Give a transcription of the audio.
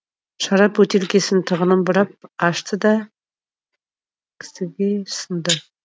шарап бөтелкесінің тығынын бұрап ашты да кісіге ұсынды